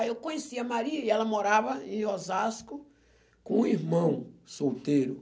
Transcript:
Aí eu conheci a Maria e ela morava em Osasco com um irmão solteiro.